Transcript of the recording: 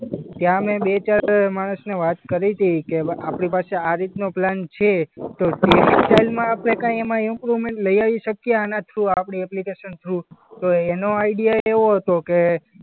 ત્યાં મેં બે-ચાર માણસને વાત કરી તી કે ભા આપણી પાસે આ રીતનો પ્લાન છે તો ટેક્સટાઈલમાં આપણે કંઈ એમાં ઈમ્પ્રુવમેન્ટ લઈ આવી શકીએ આના થ્રુ? આપણી એપ્લિકેશન થ્રુ? તો એનો આઈડિયા એવો હતો કે